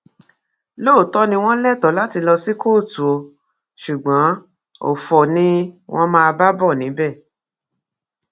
lóòótọ ni wọn lẹtọọ láti lọ sí kóòtù o ṣùgbọn ọfọ ni wọn máa bá bọ níbẹ